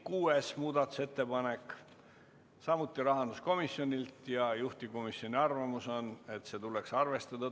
Oleme muudatusettepanekud läbi vaadanud ja juhtivkomisjon on teinud ettepaneku eelnõu 287 teine lugemine lõpetada.